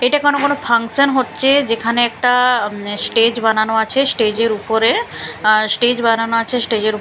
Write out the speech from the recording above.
এটা কোনো কোনো ফাংশান হচ্ছে যেখানে একটা স্টেজ বানানো আচে স্টেজ -এর উপরে অ্যা স্টেজ বানানো আছে স্টেজ -এর--